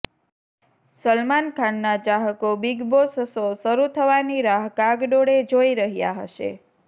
સલમાન ખાનના ચાહકો Bigg Boss show શરૂ થવાની રાહ કાગડોળે જોઈ રહ્યા હશે